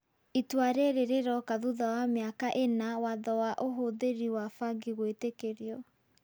Itua rĩrĩ rĩroka thutha wa miaka ĩna watho wa ũhũthĩri wa bangi gũĩtĩkĩrio.